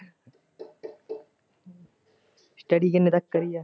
study ਕਿਨੇ ਤੱਕ ਕਰਨੀ ਐਂ?